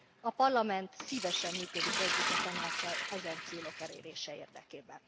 A Parlament szívesen működik együtt a Tanáccsal ezen célok elérése érdekében.